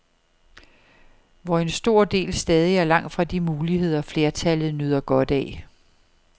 Hvor en stor del stadig er langt fra de muligheder, flertallet nyder godt af.